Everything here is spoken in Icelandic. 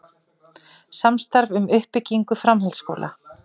Samstarf um uppbyggingu framhaldsskóla